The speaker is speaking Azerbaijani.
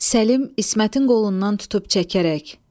Səlim İsmətin qolundan tutub çəkərək.